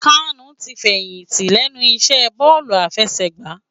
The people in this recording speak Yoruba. Kanu ti fèyinti lènú isè bòlú àfèsègbá